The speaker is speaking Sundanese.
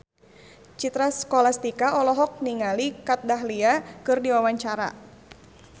Citra Scholastika olohok ningali Kat Dahlia keur diwawancara